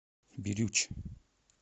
бирюч